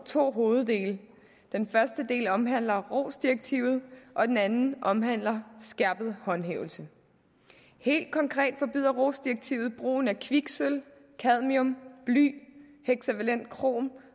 to hoveddele den første del omhandler rohs direktivet og den anden del omhandler skærpet håndhævelse helt konkret forbyder rohs direktivet brugen af kviksølv cadmium bly hexavalent chrom